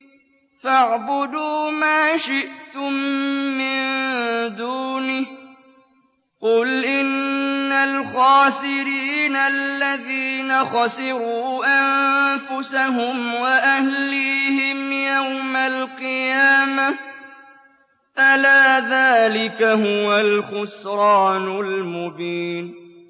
فَاعْبُدُوا مَا شِئْتُم مِّن دُونِهِ ۗ قُلْ إِنَّ الْخَاسِرِينَ الَّذِينَ خَسِرُوا أَنفُسَهُمْ وَأَهْلِيهِمْ يَوْمَ الْقِيَامَةِ ۗ أَلَا ذَٰلِكَ هُوَ الْخُسْرَانُ الْمُبِينُ